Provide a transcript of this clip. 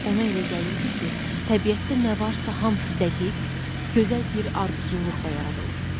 Ona elə gəlirdi ki, təbiətdə nə varsa hamısı dəqiq, gözəl bir ardıcıllıqla yaradılıb.